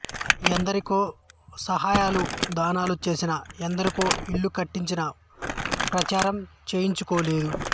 ఎందరికో సహాయాలు దానాలు చేసినా ఎందరికో ఇళ్ళు కట్టించినా ప్రచారం చేయించుకోలేదు